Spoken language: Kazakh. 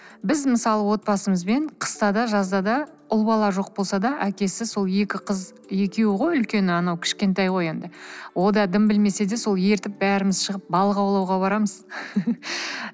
біз мысалы отбасымызбен қыста да жазда да ұл бала жоқ болса да әкесі сол екі қыз екеуі ғой үлкені анау кішкентай ғой енді ол да дым білмесе де сол ертіп бәріміз шығып балық аулауға барамыз